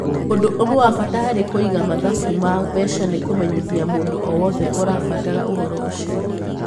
Ũndũ ũmwe wa bata harĩ kũiga mathabu ma mbeca nĩ kũmenyithia mũndũ o wothe ũrabatara ũhoro ũcio.